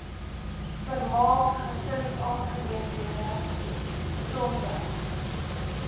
vermaak gesinsaangeleenthede gesondheid